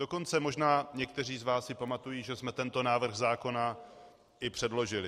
Dokonce možná někteří z vás si pamatují, že jsme tento návrh zákona i předložili.